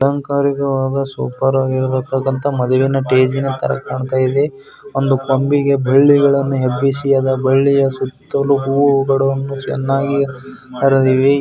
ಅಲಂಕಾರಿಕವಾದ ಸಂಪ್ರದಾಯದ ಮದುವೆಷ್ಟೇ ಸ್ತರ ಕಾಣುತ್ತದೆ.